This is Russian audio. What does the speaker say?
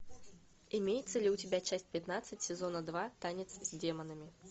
имеется ли у тебя часть пятнадцать сезона два танец с демонами